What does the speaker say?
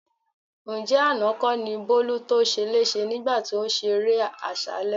Ǹjẹ́ àná kọ́ ni Bólú to ṣeléṣe nígbà tí ó ṣeré àṣálẹ́?